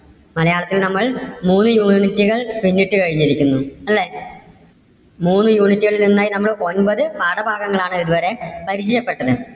മലയാളത്തിൽ നമ്മൾ മൂന്നു unit കൾ പിന്നിട്ട് കഴിഞ്ഞിരിക്കുന്നു. അല്ലേ മൂന്ന് unit കളിൽ നിന്ന് നമ്മൾ ഒമ്പത് പാഠഭാഗങ്ങളാണ് ഇതുവരെ പരിചയപ്പെട്ടത്.